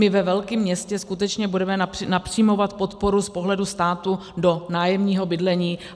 My ve velkém městě skutečně budeme napřimovat podporu z pohledu státu do nájemního bydlení.